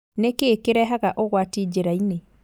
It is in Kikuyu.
Nĩkĩĩ kĩrehaga ũgwati njĩrainĩ?